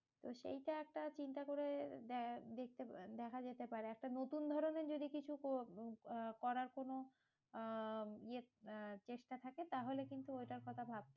তো সেইটা একটা চিন্তা করে দে~ দেখতে দেখা যেতে পারে, একটা নতুন ধরণের যদি কিছু করার কোনো আহ চেষ্টা থাকে, তাহলে কিন্তু ওটার কথা ভাব।